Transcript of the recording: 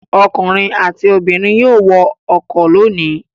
Ọkùnrin àti obìnrin yóò wọ ọkọ̀ lónìí.